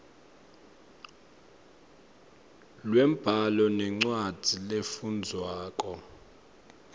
lwembhalo nencwadzi lefundvwako